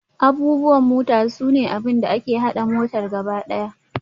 Abubuwan mota sune abin da ke haɗa motar gaba ɗaya.